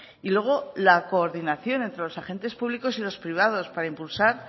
y luego la coordinación entre los agentes públicos y los privados para impulsar